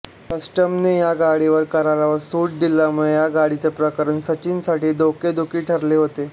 कस्टमने ह्या गाडीवरील करावर सूट दिल्यामुळे ह्या गाडीचे प्रकरण सचिनसाठी डोकेदुखी ठरले होते